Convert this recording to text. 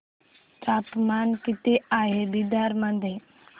तापमान किती आहे बिदर मध्ये